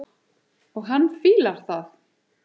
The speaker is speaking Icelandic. Og hann fílar það.